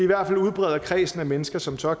hvert fald udbreder kredsen af mennesker som tør